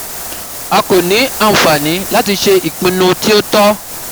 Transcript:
a ko ni anfani lati ṣe ipinnu ti o tọ